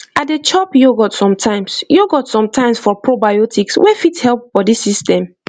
i dey chop yogurt sometimes yogurt sometimes for probiotics wey fit help body system